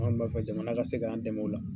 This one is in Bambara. An kɔni b'a fɛ jamana ka se k' an dɛmɛ o la.